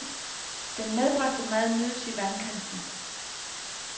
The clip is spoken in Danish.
Den medbragte mad nydes i vandkanten.